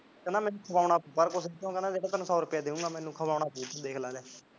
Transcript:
ਕਹਿੰਦਾ ਮੈਨੂੰ ਖਵਾਉਂਮਾ ਸੀ ਬਾਹਰ ਕੁਝ ਉਹ ਕਹਿੰਦਾ ਸੋ ਰੁਪਿਆ ਦਿਉਗਾ ਮੈਨੂੰ ਖਵਾਉਣਾ ਸੀ ਦੇਖ ਲੈ